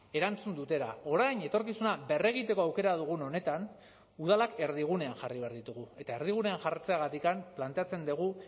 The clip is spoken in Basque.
erantzun dutela orain etorkizuna berregiteko aukera dugun honetan udalak erdigunean jarri behar ditugu eta erdigunean jartzeagatik planteatzen dugu